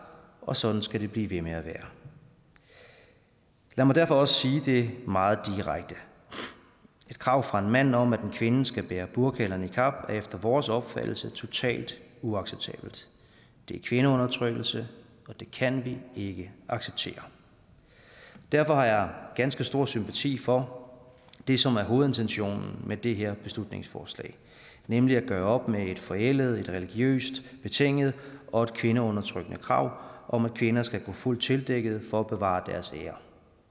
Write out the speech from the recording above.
og sådan skal det blive ved med at være lad mig derfor også sige det meget direkte et krav fra en mand om at en kvinde skal bære burka eller niqab er efter vores opfattelse totalt uacceptabelt det er kvindeundertrykkelse og det kan vi ikke acceptere derfor har jeg ganske stor sympati for det som er hovedintentionen med det her beslutningsforslag nemlig at gøre op med et forældet et religiøst betinget og et kvindeundertrykkende krav om at kvinder skal gå fuldt tildækket for at bevare deres ære